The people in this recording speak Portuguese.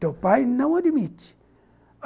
Teu pai não admite.